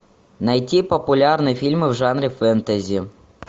найти популярные фильмы в жанре фэнтези